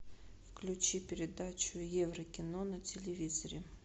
включи передачу еврокино на телевизоре